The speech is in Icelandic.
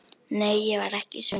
Nei, ég var ekki svöng.